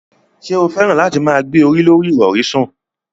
Ṣé o fẹ́ràn láti máa gbé orí lorí ìrọ̀rí sùn?